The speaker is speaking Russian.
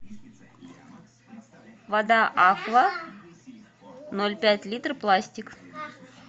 вода аква ноль пять литра пластик